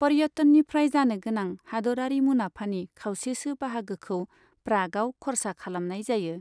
पर्यटननिफ्राय जानोगोनां हादोरारि मुनाफानि खावसेसो बाहागोखौ प्रागआव खर्सा खालामनाय जायो।